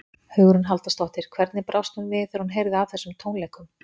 Hugrún Halldórsdóttir: Hvernig brást hún við þegar hún heyrði af þessum tónleikum?